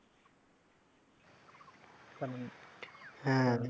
হ্যাঁ।